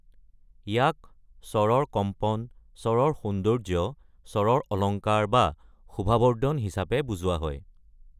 ইয়াক স্বৰৰ কম্পন, স্বৰৰ সৌন্দৰ্য্য, স্বৰৰ অলংকাৰ বা শোভাবৰ্ধন হিচাপে বুজোৱা হয়।